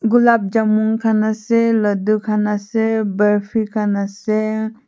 gulaap jamun khan ase ladoo khan ase barfi khan ase.